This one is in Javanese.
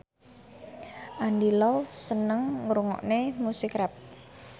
Andy Lau seneng ngrungokne musik rap